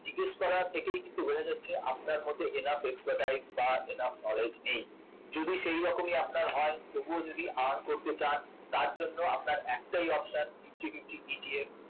জিজ্ঞেস করা থেকেই কিন্তু বোঝা যাচ্ছে আপনার মধ্যে enough knowledge বা enough expertise নেই যদি সেরকমই আপনার হয় তবুও যদি earn করতে চান তার জন্য আপনার একটাই option nifty fiftyETF